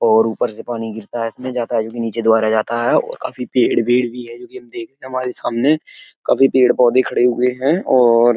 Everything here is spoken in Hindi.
और ऊपर से पानी गिरता है इसमें जाता है जो कि नीचे द्वारा जाता है और काफी पेड़ वेड़ भी है जोकि हम देख रहे हैं हमारे सामने काफी पेड़ पौधे खड़े हुए हैं और --